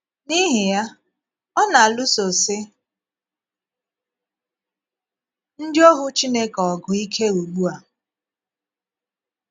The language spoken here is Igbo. N’íhì ya, ọ na - alụsosi ndị òhù Chineke ọ̀gụ́ íké ugbu a.